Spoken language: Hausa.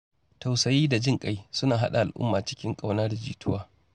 Tausayi da jin ƙai suna haɗa al’umma cikin ƙauna da jituwa.